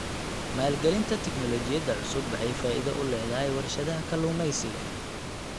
Maalgelinta tignoolajiyada cusub waxay faa'iido u leedahay warshadaha kalluumeysiga.